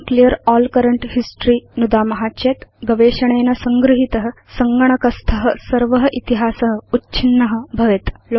वयं clear all current history नुदाम चेत् भवत सङ्गणकस्थ गवेषणेन संगृहीत सर्व इतिहास उच्छिन्न भवेत्